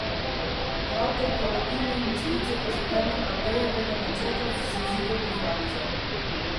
Prav korporativne investicije pa so temelj Abejevega načrta za zajezitev deflacije.